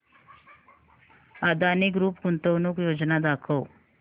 Adani group गुंतवणूक योजना दाखव